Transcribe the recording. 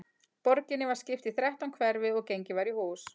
Borginni var skipt í þrettán hverfi og gengið var í hús.